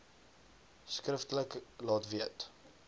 skriftelik laat weet